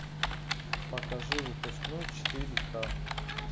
покажи выпускной четыре ка